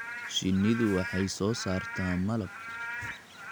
Shinnidu waxay soo saartaa malab.